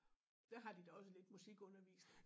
Der har de da også lidt musikundervisning